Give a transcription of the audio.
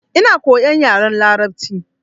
Ina koyan yaren larabci.